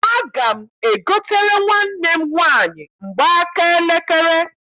Aga m egotere nwanne m nwaanyị mgbaaka elekere.